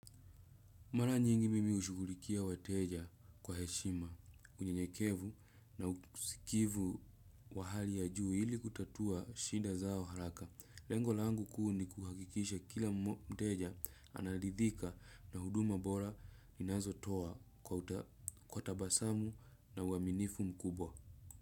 Mara nyingi mimi hushughulikia wateja kwa heshima, unyenyekevu na usikivu wa hali ya juu ili kutatua shinda zao haraka. Lengo langu kuu ni kuhakikisha kila mteja analidhika na huduma bora ninazo toa kwa utabasamu na uaminifu mkubwa.